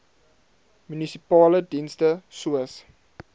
munisipale dienste soos